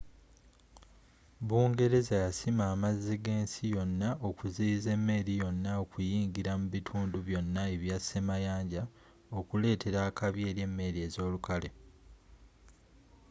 bungereza yasima amazzi g'ensi yonna okuziyiza emmeri yonna okuyingira mu bitundu byonna ebya semayanja okuletera akabi eri emmeri ezolukale